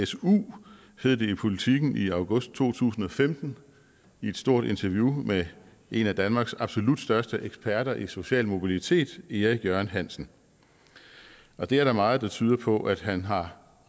su hed det i politiken i august to tusind og femten i et stort interview med en af danmarks absolut største eksperter i social mobilitet erik jørgen hansen og det er der meget der tyder på at han har